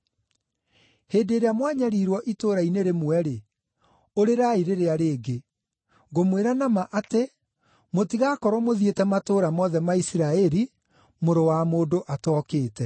Hĩndĩ ĩrĩa mwanyariirwo itũũra-inĩ rĩmwe-rĩ, ũrĩrai rĩrĩa rĩngĩ. Ngũmwĩra na ma atĩ, mũtigaakorwo mũthiĩte matũũra mothe ma Isiraeli, Mũrũ wa Mũndũ atookĩte.